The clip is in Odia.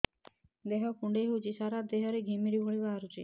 ଦେହ କୁଣ୍ଡେଇ ହେଉଛି ସାରା ଦେହ ରେ ଘିମିରି ଭଳି ବାହାରୁଛି